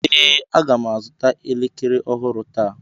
Ee, Aga m azụta elekere ọhụrụ taa